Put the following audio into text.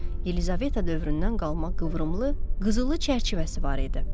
Yelizaveta dövründən qalma qıvrımlı, qızılı çərçivəsi var idi.